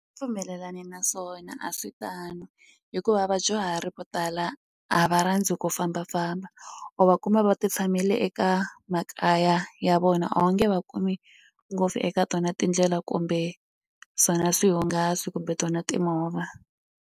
Pfumelelani na swona a swi tani hikuva vadyuhari vo tala a va rhandzi ku fambafamba u va kuma va ti tshamele eka makaya ya vona a wu nge va kumi ngopfu eka tona tindlela kumbe swona swihungasi kumbe tona timovha.